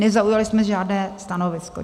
Nezaujali jsme žádné stanovisko.